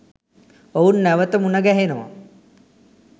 ඔවුන් නැවත මුණ ගැහෙනවා